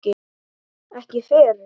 Ekki fyrr?